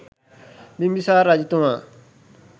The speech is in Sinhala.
බිම්බිසාර රජතුමා